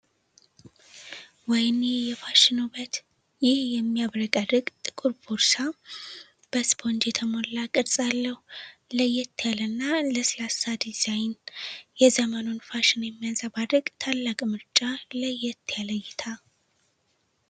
ወይኔ የፋሽን ውበት! ይህ የሚያብረቀርቅ ጥቁር ቦርሳ በስፖንጅ የተሞላ ቅርጽ አለው! ለየት ያለና ለስላሳ ዲዛይን! የዘመኑን ፋሽን የሚያንጸባርቅ ታላቅ ምርጫ! ለየት ያለ እይታ!